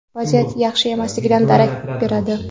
vaziyat yaxshi emasligidan darak beradi.